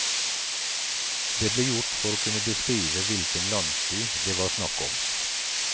Det ble gjort for å kunne beskrive hvilken landsby det var snakk om.